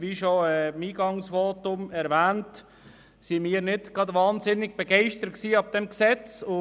Wie bereits im Eingangsvotum erwähnt, waren wir nicht unglaublich begeistert von diesem Gesetz.